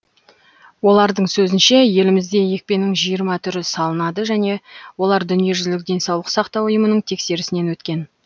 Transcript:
олардың сөзінше елімізде екпенің жиырма түрі салынады және олар дүниежүзілік денсаулық сақтау ұйымының тексерісінен өткен